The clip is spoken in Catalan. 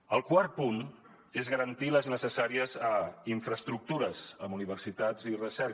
el quart punt és garantir les necessàries infraestructures en universitats i recerca